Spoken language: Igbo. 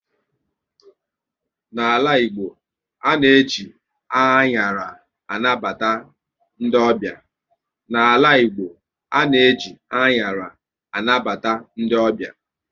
N'ala Igbo, ana eji anyara anabata ndị ọbịa